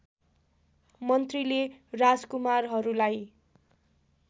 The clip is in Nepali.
मन्त्रीले राजकुमारहरूलाई